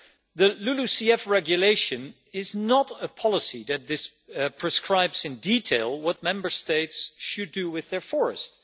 The LULUCF Regulation is not a policy that prescribes in detail what Member States should do with their forests.